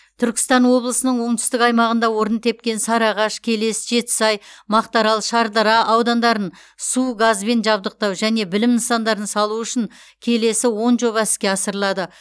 түркістан облысының оңтүстік аймағында орын тепкен сарыағаш келес жетісай мақтаарал шардара аудандарын су газбен жабдықтау және білім нысандарын салу үшін келесі он жоба іске асырылады